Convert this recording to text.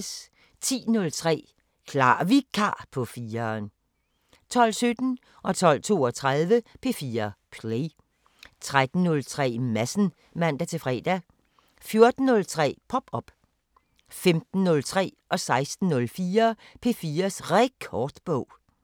10:03: Klar Vikar på 4'eren 12:17: P4 Play 12:32: P4 Play 13:03: Madsen (man-fre) 14:03: Pop op 15:03: P4's Rekordbog 16:04: P4's Rekordbog